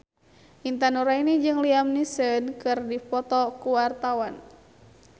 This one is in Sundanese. Intan Nuraini jeung Liam Neeson keur dipoto ku wartawan